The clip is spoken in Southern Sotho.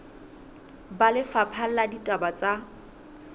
ba lefapha la ditaba tsa